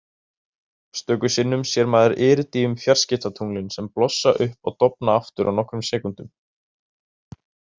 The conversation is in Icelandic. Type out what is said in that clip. Stöku sinnum sér maður Iridíum-fjarskiptatunglin sem blossa upp og dofna aftur á nokkrum sekúndum.